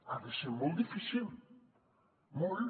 ha de ser molt difícil molt